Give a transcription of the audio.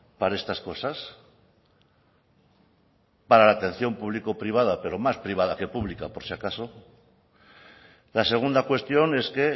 para estas cosas para la atención público privada pero más privada que pública por si acaso la segunda cuestión es que